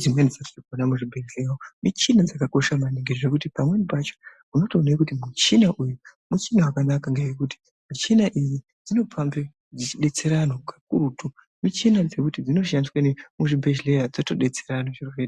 dzimweni dzatirinkuona muzvibhedhlera umu muchina dzakakosha maningi zvekuti Pamweni pacho unotoone kuti muchinauyu muchina wakanaka ngenyaya yekuti michina iyi dsinopambe dzichidetsera antu kakurutu michina Dzekuti dzinoshandise ne muzvibhedhleya dzotodetsere antu zviro zvo.